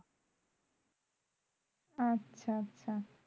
আচ্ছা আচ্ছা